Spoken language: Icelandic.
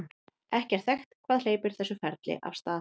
ekki er þekkt hvað hleypir þessu ferli af stað